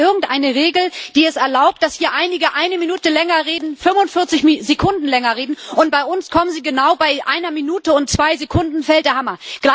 Oder gibt es irgendeine Regel, die es erlaubt, dass hier einige eine Minute länger reden, 45 Sekunden länger reden, und bei uns fällt genau bei einer Minute und zwei Sekunden der Hammer?